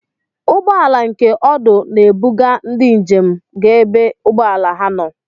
Ụgbọala nke ọdụ n'ebuga ndị ijem ga ebe ụgbọelu ha nọ.